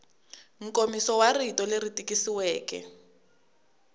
nkomiso wa rito leri tikisiweke